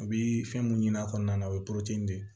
A bɛ fɛn mun ɲini a kɔnɔna na o ye de ye